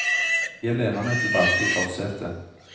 Jeg lener meg tilbake i forsetet.